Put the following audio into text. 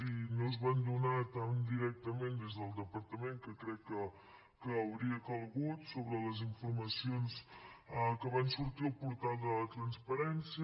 i no es van donar tan directament des del departament que crec que hauria calgut sobre les informacions que van sortir al portal de la transparència